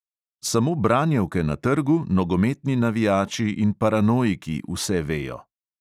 Samo branjevke na trgu, nogometni navijači in paranoiki vse vejo.